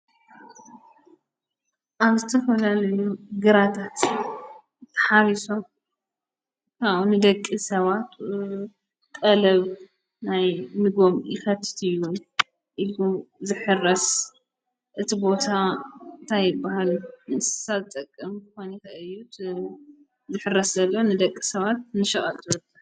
ኣብ ዝተፈላልዩ ግራታት ተሓሪሶም ካቡ ንደቂ ሰባት ቐለብ ናይ ጥበተም ኢኸትእትዩዉን ኢልሉ ዘሕረስ እቲ ቦታ ታይብሃል ንሳ ጠቅም ኳኒካ እዩት ዘሕረስ ዘለ ንደቂ ሰባት ንሸቐጥ ይጥቀም።